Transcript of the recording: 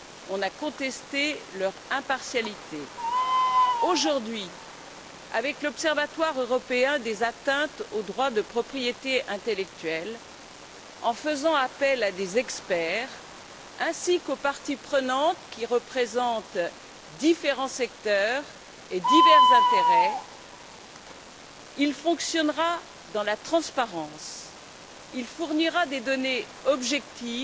On a contesté leur impartialité. Aujourd'hui, l'Observatoire européen des atteintes aux droits de propriété intellectuelle, en faisant appel à des experts ainsi qu'aux parties prenantes qui représentent différents secteurs et divers intérêts, fonctionnera dans la transparence et fournira des données objectives,